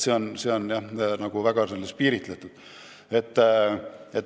See on väga piiritletud.